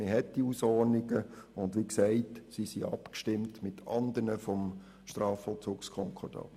Es gibt diese Hausordnungen und sie sind, wie gesagt, abgestimmt mit anderen des Strafvollzugskonkordats.